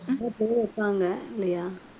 இல்லையா